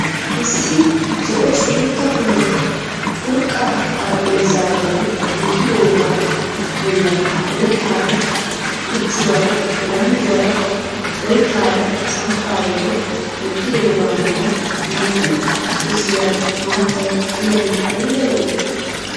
Issi zo'o suutta kule curqaa xarapheeza bolli wottidoogaa bolla oyittaara muchuwara, bilanduwaara, oyitaara samppa bolli wottidoogaa matan naa"u gosiyaara maattay diyagee ayiba lo'ii.